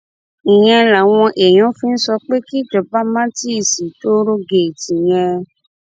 ìyẹn làwọn èèyàn fi ń sọ pé kíjọba má tì í sí tòòrégèètì yẹn